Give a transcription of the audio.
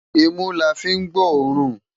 Imú lá fi n gbóòrún